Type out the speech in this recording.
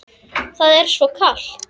Það er svo kalt.